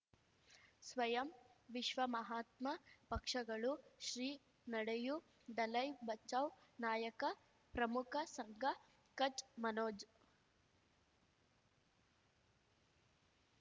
ಸ್ವಯಂ ವಿಶ್ವ ಮಹಾತ್ಮ ಪಕ್ಷಗಳು ಶ್ರೀ ನಡೆಯೂ ದಲೈ ಬಚೌ ನಾಯಕ ಪ್ರಮುಖ ಸಂಘ ಕಚ್ ಮನೋಜ್